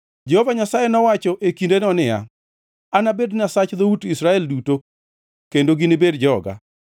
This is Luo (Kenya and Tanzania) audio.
Jehova Nyasaye nowacho e kindeno niya, “Anabed Nyasach dhout Israel duto, kendo ginibed joga.”